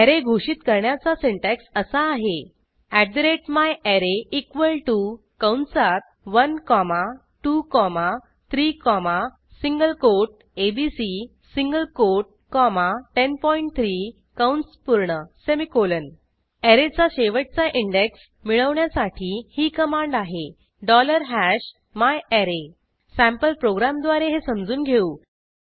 array घोषित करण्याचा syntax असा आहे myArray इक्वॉल टीओ कंसात 1 comma 2 comma 3 comma single quote ABC single quote comma 103 कंस पूर्ण सेमिकोलॉन ऍरेचा शेवटचा इंडेक्स मिळवण्यासाठी ही कमांड आहे myArray सँपल प्रोग्रॅमद्वारे हे समजून घेऊ